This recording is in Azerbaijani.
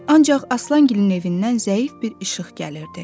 Ancaq Aslangilin evindən zəif bir işıq gəlirdi.